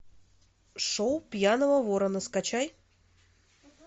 шоу пьяного ворона скачай